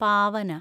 പാവന